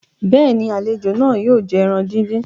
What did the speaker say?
béèni, àlejò náà yóò jẹ ẹran dín dín.